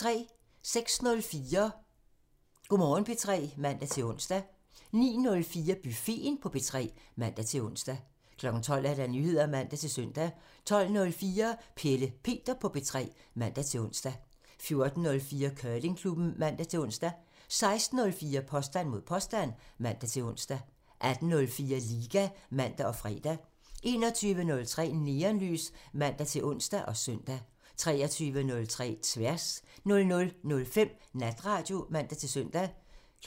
06:04: Go' Morgen P3 (man-ons) 09:04: Buffeten på P3 (man-ons) 12:00: Nyheder (man-søn) 12:04: Pelle Peter på P3 (man-ons) 14:04: Curlingklubben (man-ons) 16:04: Påstand mod påstand (man-ons) 18:04: Liga (man og fre) 21:03: Neonlys (man-ons og søn) 23:03: Tværs (man) 00:05: Natradio (man-søn)